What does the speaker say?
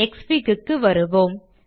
க்ஸ்ஃபிக் க்கு வருவோம்